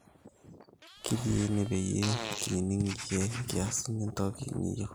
kitii ene peyie kining iyie nikias entoki niyieu